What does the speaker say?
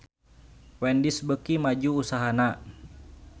Wendy's beuki maju usahana